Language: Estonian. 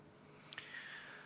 Aitäh, lugupeetud istungi juhataja!